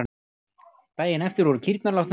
Daginn eftir voru kýrnar látnar út.